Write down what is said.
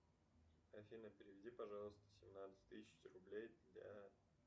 афина переведи пожалуйста семнадцать тысяч рублей для